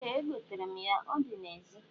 Ee, egoterem ya, o di na-ezi